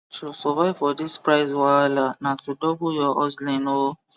to survive for this price wahala na to double ur hustling o